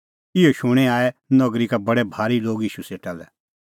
इहअ शूणीं आऐ नगरी का बडै भारी लोग ईशू सेटा लै